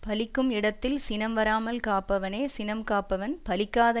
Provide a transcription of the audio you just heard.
பலிக்கும் இடத்தில் சினம் வராமல் காப்பவனே சினம் காப்பவன் பலிக்காத